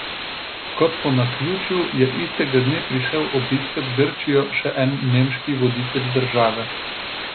Kot po naključju je istega dne prišel obiskat Grčijo še en nemški voditelj države.